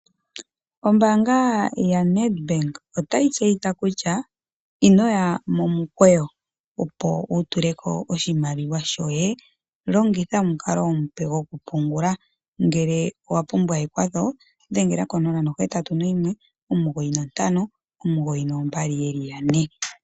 Ombanga ya NedBank otayi tseyitha kutya, inoya momukweyo, opo wu tuleko oshimaliwa shoye, longitha omukalo omupe goku pungula ngeke owa owa pumbwa ekwatho, dhengela 0819592222.